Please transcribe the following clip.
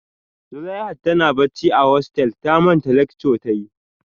Zuleihat tana bacci a hostel ta manta lecture ta yi